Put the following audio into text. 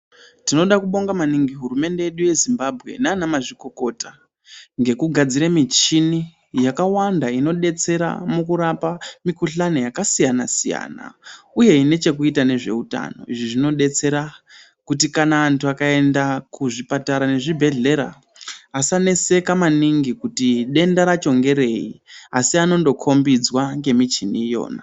Tinoda kubonga maningi hurumende yedu ye Zimbabwe nana mazvikokota ngeku gadzire michini yaka wanda ino detsera muku rapa mikuhlani yaka siyana siyana uye ine chekuita nezve utano izvi zvino detsera kuti kana antu aka enda ku zvipatara ne zvibhedhlera asa neseka maningi kuti denda racho ngerei asi anondo ko mbidzwa nge michini iyona.